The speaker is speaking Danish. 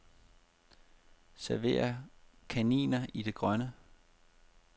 Server kaninen i det grønne.